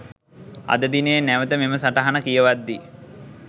අද දිනයේ නැවත මෙම සටහන කියවද්දී